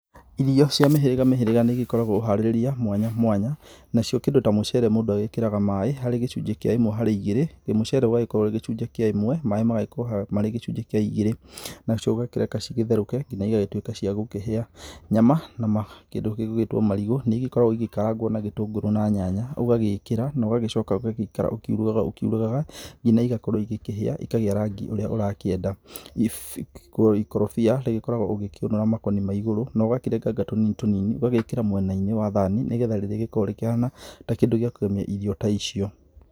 Irio cia mĩhirĩga mĩhĩrĩga nĩ igĩkoragwo na ũharĩrĩria mwanya mwanya, nacio kĩndũ ta mũcere mũndũ agĩkĩraga maaĩ harĩ gĩcunjĩ kĩa ĩmwe harĩ igĩrĩ. Na mũcere ũgagĩkorwo ũrĩ gĩcunjĩ kĩa ĩmwe, maaĩ magagĩkorwo marĩ gĩcunjĩ kĩa igĩrĩ. Nacio ũgakĩreka igĩtheruke nginya igagĩtuĩka cia gũkĩhĩa. Nyama na kĩndũ gĩgwĩtwo marigu nĩ igĩkoragwo igĩkarangwo na gĩtũngũrũ na nyanya, ũgagĩkĩra na ũgacoka ũgaikara ũkĩurugaga ũkiurugaga ngina igakorwo igĩkĩhĩa ikagĩa rangi ũrĩa ũrakĩenda. Ikorobia rĩgĩkoragwo ũgĩkĩũnũra makoni ma igũrũ na ũgakĩrenganga tũ nini tũ nini, ũgekĩra mwena-inĩ wa thani. Nĩ getha rĩgĩkorwo rĩ kĩndũ gĩa kũgemia irio ta icio.